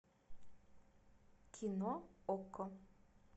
кино окко